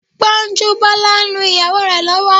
Gbọ́njúbọ́la ń lu ìyàwó rẹ̀ lọ́wọ́